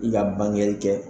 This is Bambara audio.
I ka bangeli kɛ